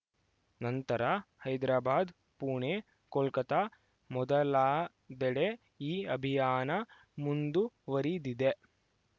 ನಂತರ ಹೈದ್ರಾಬಾದ್‌ ಪುಣೆ ಕೊಲ್ಕತ್ತಾ ಮೊದಲಾದೆಡೆ ಈ ಅಭಿಯಾನ ಮುಂದುವರಿದಿದೆ